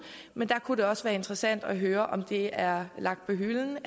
men der kunne det også være interessant at høre om det er lagt på hylden